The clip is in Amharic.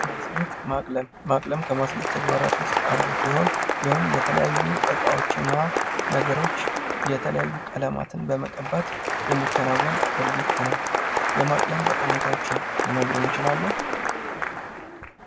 ማስጌጥ ማቅለም ከማስጌጥ ተግባራት ውስጥ አንዱ ሲሆን ያውም ለተለያዩ እቃዎች እና ነገሮች የተለያዩ ቀለማትን በመቀባት የሚከናወን ድርጊት ነው። የማቅረም ጠቀሜታዎችን ሊነግሩን ይችላሉ?